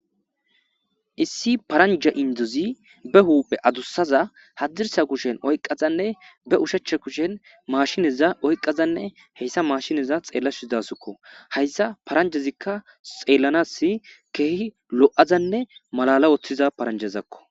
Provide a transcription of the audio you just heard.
issi paranja indozi be huuphe adussaza hadirsa kushen oyqqazanne be ushecha kushen maashineza oyqazanne heyssa maashineza xeellashuidasukko hayssa paranjezikka xeellanas keehi lo7azanne malala woththiza paranjezakko